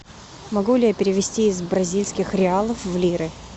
могу ли я перевести из бразильских реалов в лиры